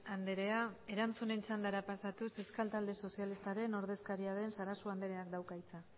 andrea erantzunen txandara pasatuz euskal talde sozialistaren ordezkaria den sarasua andrea dauka hitza